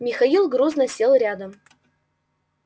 михаил грузно сел рядом